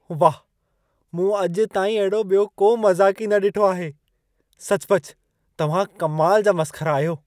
वाह! मूं अॼु ताईं अहिड़ो ॿियो को मज़ाक़ी न ॾिठो आहे। सचपच तव्हां कमाल जा मसख़रा आहियो।